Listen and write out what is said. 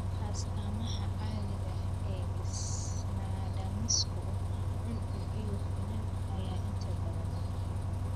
Astaamaha caadiga ah ee isnadaamisku (cuncun iyo finan) ayaa inta badan maqan.